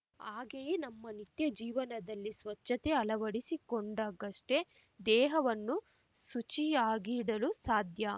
ಹಾಗೇಯೇ ನಮ್ಮ ನಿತ್ಯ ಜೀವನದಲ್ಲಿ ಸ್ವಚ್ಛತೆ ಅಳವಡಿಸಿಕೊಂಡಾಗಷ್ಟೇ ದೇಹವನ್ನು ಶುಚಿಯಾಗಿಡಲು ಸಾಧ್ಯ